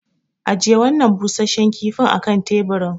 Ajiye wannan busasshen kifin a kan teburin.